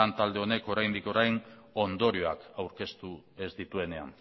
lan talde honek oraindik orain ondorioak aurkeztu ez dituenean